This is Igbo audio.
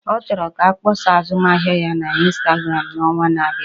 Ọ chọrọ ka akpọsa azụmahịa ya na ịnstagramụ n'ọnwa na-abịa